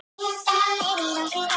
Nikki sagði Kamilla undrandi.